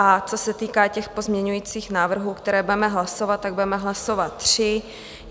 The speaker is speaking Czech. A co se týká těch pozměňujících návrhů, které budeme hlasovat, tak budeme hlasovat tři.